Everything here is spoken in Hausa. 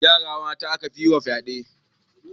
Yara mata aka fi yi wa fyaɗe